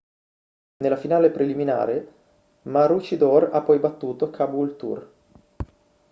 nella finale preliminare maroochydore ha poi battuto caboolture